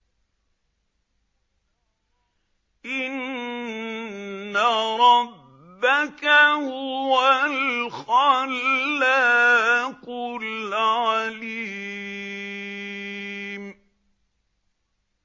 إِنَّ رَبَّكَ هُوَ الْخَلَّاقُ الْعَلِيمُ